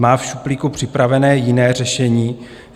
Má v šuplíku připraveno jiné řešení?